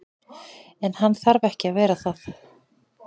En hann þarf ekki að vera það.